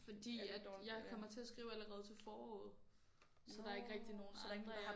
Fordi at jeg kommer til at skrive allerede til foråret så der er ikke rigtig nogen andre jeg